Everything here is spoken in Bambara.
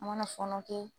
An mana fɔnɔ kɛ